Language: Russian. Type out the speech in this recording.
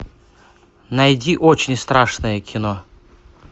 найди очень страшное кино